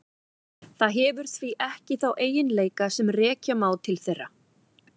Það hefur því ekki þá eiginleika sem rekja má til þeirra.